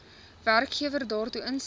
werkgewer daartoe instem